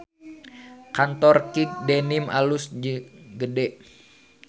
Kantor Kick Denim alus jeung gede